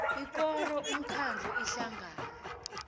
ikoro umkhandlu ihlangano